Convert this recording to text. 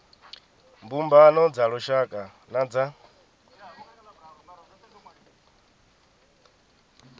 mbumbano dza lushaka na dza